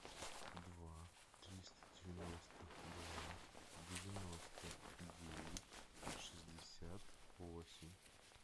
два триста девяносто два девяносто девять шестьдесят восемь